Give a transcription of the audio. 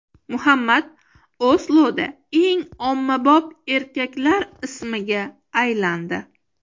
Muhammad Osloda eng ommabop erkaklar ismiga aylandi.